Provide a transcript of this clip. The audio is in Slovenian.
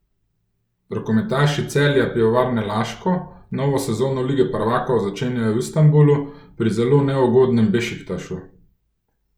Rokometaši Celja Pivovarne Laško novo sezono lige prvakov začenjajo v Istanbulu pri zelo neugodnem Bešiktašu.